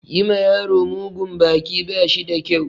Yi ma yaro mugun baki ba shi da kyau.